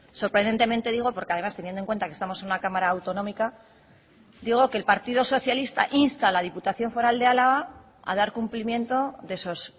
sorprendentemente digo porque además teniendo en cuenta que estamos en una cámara autonómica digo que el partido socialista insta a la diputación foral de álava a dar cumplimiento de esos